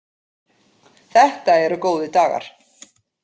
Þetta eru góðir dagar.